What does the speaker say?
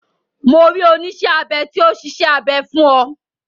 Mo rí oníṣẹ́ abẹ tí ó ṣiṣẹ́ abẹ fún ọ.